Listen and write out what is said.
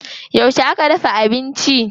Yauce aka dafa abinci?